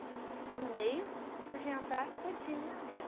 O cara no meio, você podia andar todinha nela.